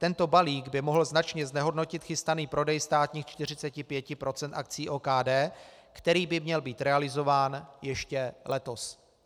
Tento balík by mohl značně znehodnotit chystaný prodej státních 45 % akcií OKD, který by měl být realizován ještě letos."